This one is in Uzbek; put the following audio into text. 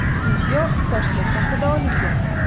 Video Toshkent shahrida olingan.